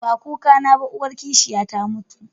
Ba kukana ba, uwar kishiya ta mutu